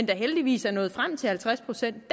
da heldigvis nået frem til halvtreds procents